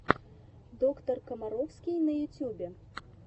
доктор комаровский в ютьюбе